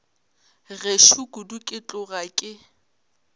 gešo kudu ke tloga ke